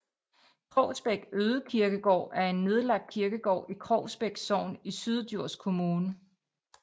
Krogsbæk Ødekirkegård er en nedlagt kirkegård i Krogsbæk Sogn i Syddjurs Kommune